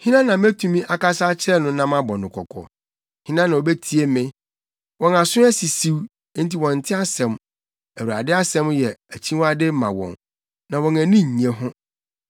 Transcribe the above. Hena na metumi akasa akyerɛ no na mabɔ no kɔkɔ? Hena na obetie me? Wɔn aso asisiw enti wɔnte asɛm. Awurade asɛm yɛ akyiwade ma wɔn, na wɔn ani nnye ho.